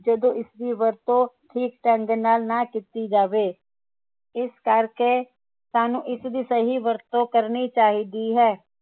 ਜਦੋ ਇਸਦੀ ਵਰਤੋਂ ਠੀਕ ਢੰਗ ਨਾਲ ਨਾ ਕੀਤੀ ਜਾਵੇ ਇਸ ਕਰਕੇ ਸਾਨੂੰ ਇਸਦੀ ਸਹੀ ਵਰਤੋਂ ਕਰਨੀ ਚਾਹੀਦੀ ਹੈ